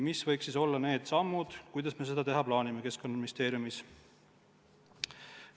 Mis võiks olla need sammud, kuidas me seda Keskkonnaministeeriumis teha plaanime?